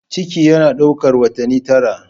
Ciki yana ɗaukar watanni tara.